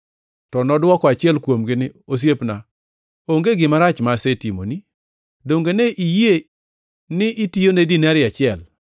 “To nodwoko achiel kuomgi ni, ‘Osiepna, onge gima rach ma asetimoni. Donge ne iyie ni itiyone dinari achiel?